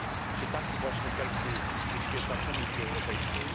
Czy taki właśnie cel przyświeca Komisji Europejskiej?